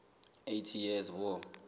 eighty years war